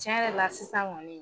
Tiɲɛ yɛrɛ la sisan ŋɔni